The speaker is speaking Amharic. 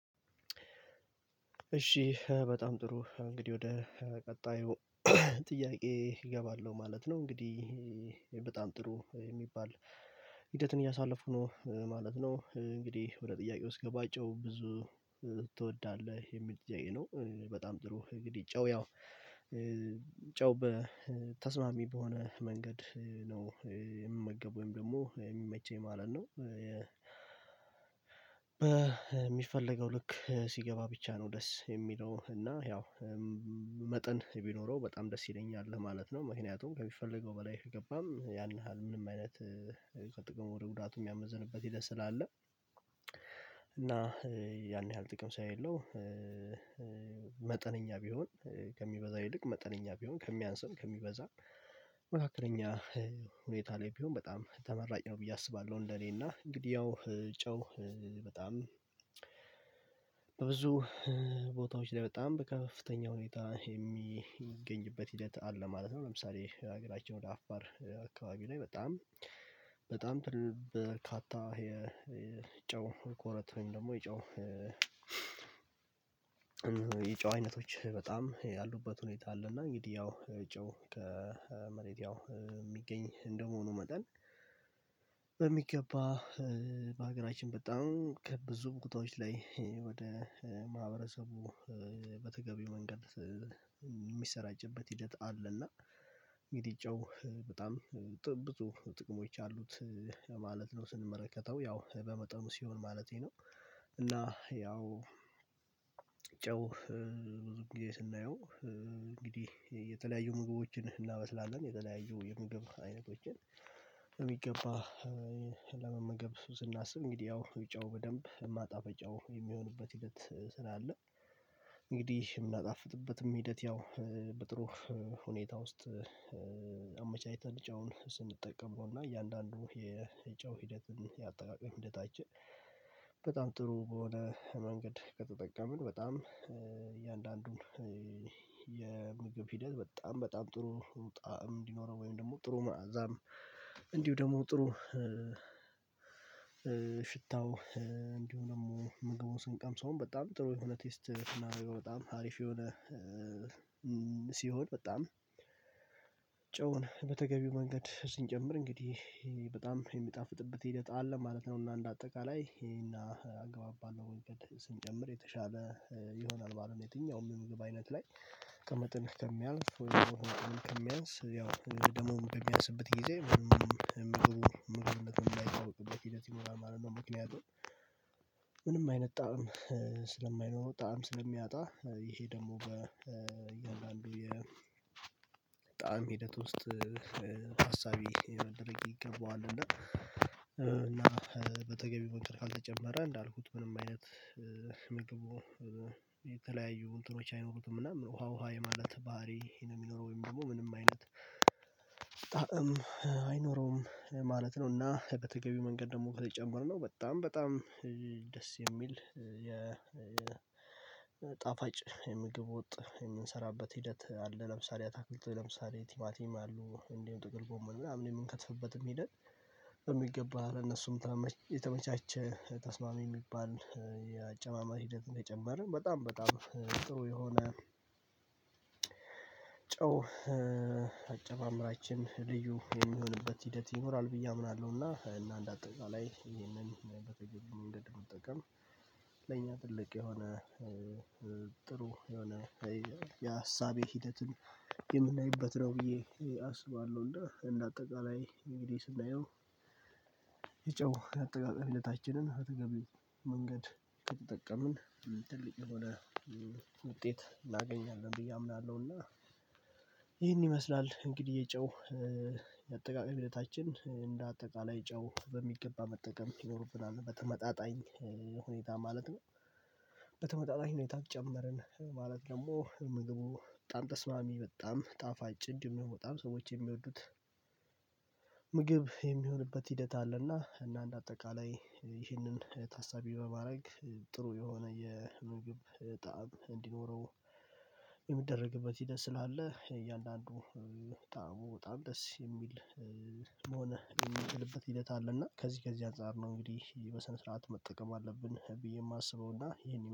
እሺ በጣም ጥሩ እንግዲህ ወደ ቀጣዩ ጥያቄ እገባለሁ ማለት ነው። እንግዲህ በጣም ጥሩ የሚባል ሂደትን እያሳለፉኩ ነው ማለት ነው። እንግዲህ ወደ ጥያቄ ስገባ ጨው ብዙ ትወዳለህ የሚል ጥያቄ ነው? በጣም ጥሩ እንግዲህ ጨው ያው ጨው በተስማሚ በሆነ መንገድ ነው የምመገበው ወይም ደግሞ የሚመቸኝ ማለት ነው። በሚፈለገው ልክ ሲገባ ብቻ ነው ደስ የሚለው እና ያው መጠን ቢኖረው በጣም ደስ ይለኛል ለማለት ነው። ምክንያቱም ከሚፈልገው በላይ ከገባም ያን ያህል ምንም አይነት ከጥቅሙ ወደ ጉዳቱ የሚያመዝንበት ሂደት ስላለ። እና ያን ያህል ጥቅም ስለሌለው መጠነኛ ቢሆን ከሚበዛ ይልቅ መጠነኛ ቢሆን ከሚያንስም ከሚበዛም መካከለኛ ሁኔታ ላይ ቢሆን በጣም ተመራጭ ነው ብዬ አስባለሁ። እንደኔ እና እንግዲህ ያው ጨው በጣም በብዙ ቦታዎች ላይ በጣም በከፍተኛ ሁኔታ የሚገኝበት ሂደት አለ ማለት ነው። ለምሳሌ ሀገራቸን ወደ አፋር አካባቢ ላይ በጣም በጣም በርካታ የጨው ኮረት ወይም ደግሞ የጨው የጨው እይነቶች በጣም ያሉበት ሁኔታ አለ። እና እንግዲህ ያው ጨው ከመሬት ያው የሚገኝ እንደመሆኑ መጠን በሚገባ በሀገራችን በጣም ከብዙ ቦታዎች ላይ ወደ ማህበረሰቡ በተገቢው መንገድ የሚሰራጭበት ሂደት አለ። እና እንግዲህ ጨው በጣም ብዙ ጥቅሞች አሉት ማለት ነው ስንመለከተው ያው በመጠኑ ሲሆን ማለቴ ነው። እና ያው ጨው ብዙ ግዜ ስናየው እንግዲህ የተለያዩ ምግቦችን እናበስላለን የተለያዩ የምግብ አይነቶችን በሚገባ ለመመገብ ስናስብ እንግዲህ ያው ጨው በደንብ ማጣፈጫው የሚሆንበት ሂደት ስላለ። እንግዲህ የምናጣፍጥበትም ሂደት ያው በጥሩ ሁኔታ ውስጥ ጨውን ስንጠቀመው እና እያንዳንዱ የጨው ሂደትን የአጠቃቀም ሂደታችን በጣም ጥሩ በሆነ መንገድ ከተጠቀምን በጣም እያንዳንዱን የምግብ ሂደት በጣም በጣም ጥሩ ጣዕም እንዲኖረው ወይም ደግሞ ጥሩ መዓዛም። እንዲሁ ደግሞ ጥሩ ሽታው እንዲሁ ደግሞ ምግቡ ስንቀምሰውም በጣም ጥሩ የሆነ ቴስት ስናረገው በጣም አሪፍ የሆነ ሲሆን በጣም ጨውን በተገቢው መንገድ ስንጀምር እንግዲህ በጣም የሚጣፍጥበት ሂደት አለ ማለት ነው። እና እንደ አጠቃላይ ይሄን አግባብ ባለው መንገድ ስንጀምር የተሻለ ይሆናል ማለት ነው የትኛውም የምግብ አይነት ላይ ከመጠን ከሚያልፍ ወይ ደግሞ ከመጠን ከሚያንስ ያው ደግሞ በሚያንስበት ግዜ ምግቡ ምግቡነቱም ማይታወቅበት ሂደት ይኖራል ማለት ነው። ምክንያቱም ምንም አይነት ጣዕም ስለሚያጣ ይሄ ደግሞ በእያንዳንዱ የጣዕም ሂደት ውስጥ ታሳቢ ሊደረግ ይገባዋል እና በተገቢ መንገድ ካልተጨመረ እንዳልኩት ምንም አይነት ምግቡ የተለያዩ እንትኖች አይኖሩትም። እና ውሃ ውሃ የማለት ባህሪ ነው የሚኖረው ወይም ደግሞ ምንም አይነት ጣዕም አይኖረውም ማለት ነው። እና በተገቢው መንገድ ደግሞ ከተጨመረ ነው በጣም በጣም ደስ የሚል የጣፋጭ የምግብ ወጥ የምንሰራበት ሂደት አለ። ለምሳሌ አታክልት ለምሳሌ ቲማቲም አሉ እንዲሁም ጥቅል ጎመን ምናምን የምንከትፍበትም ሄደት በሚገባ ለነሱም የተመቻቸ ተስማሚ የሚባል የአጨማመር ሂደት እንደጨመርን በጣም በጣም ጥሩ የሆነ ጨው አጨማመራችን ልዩ የሚሆንበት ሂደት ይኖራል ብዬ አምናለሁና። እና እንደ አጠቃላይ ይሄንን መንገድ መጠቀም ለኛ ትልቅ የሆነ ጥሩ የሆነ የሀሳብ ሂደትን የምናይበት ነው ብዬ አስባለሁ እንደ እንደ አጠቃላይ እንግዲህ ስናየው የጨው አጠቃቀም ሂደታችንን በተገቢው መንገድ ከተጠቀምን ትልቅ የሆነ ውጤት እናገኛለን ብዬ አምናለሁ። እና ይህን ይመስላል እንግዲህ የጨው የአጠቃቀም ሂደታችን እንደ አጠቃላይ ጨው በሚገባ መጠቀም ይኖርብናል በተመጣጣኝ ሁኔታ ማለት ነው። በተመጣጣኝ ሁኔታ ጨመርን ማለት ደግሞ ምግቡ በጣም ተስማሚ በጣም ጣፋጭ እንዲሁም ደግሞ በጣም ሰዎች የሚወዱት ምግብ የሚሆንበት ሂደት አለና እና እንደ አጠቃላይ ይህንን ታሳቢ በማድረግ ጥሩ የሆነ የምግብ ጣዕም እንዲኖረው የሚደረግበት ሂደት ስላለ እያንዳንዱ ጣዕሙ በጣም ደስ የሚል መሆን የሚነችልበት ሂደት አለ። እና ከዚህ ከዚህ አንፃር ነው እንግዲህ በሰነ ስርዓት መጠቀም አለብን ብዬ የማስበው እና ይሄን